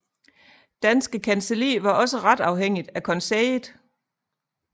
Danske Kancelli var også ret afhængigt af konseillet